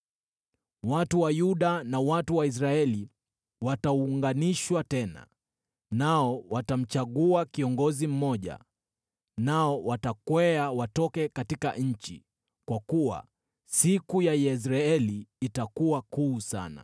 Watu wa Yuda na watu wa Israeli wataunganishwa tena, nao watamchagua kiongozi mmoja nao watakwea watoke katika nchi, kwa kuwa siku ya Yezreeli itakuwa kuu sana.